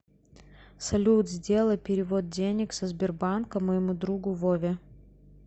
салют сделай перевод денег со сбербанка моему другу вове